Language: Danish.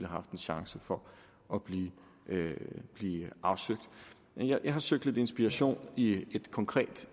haft en chance for at blive afsøgt jeg har søgt lidt inspiration i et konkret